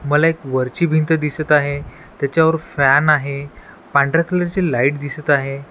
मला एक वरची भिंत दिसत आहे त्याच्यावर फॅन आहे पांढऱ्या कलरची लाईट दिसत आहे.